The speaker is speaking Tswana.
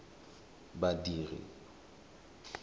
badiri